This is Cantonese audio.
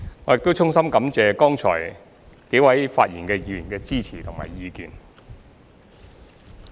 我亦衷心感謝剛才幾位發言議員的支持及意見。